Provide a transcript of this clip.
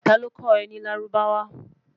ta ló kò é ní lárúbáwá?